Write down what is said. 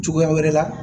Cogoya wɛrɛ la